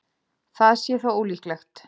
Það sé þó ólíklegt